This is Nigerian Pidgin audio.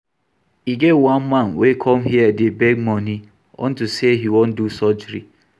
E get one man wey come here dey beg money unto say he wan do surgery